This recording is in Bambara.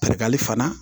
Barikali fana